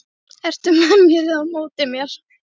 Ertu með mér eða á móti mér?